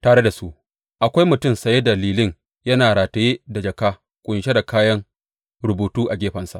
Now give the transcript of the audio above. Tare da su akwai mutum saye da lilin yana rataye da jaka ƙunshe da kayan rubutu a gefensa.